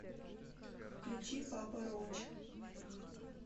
включи папа роач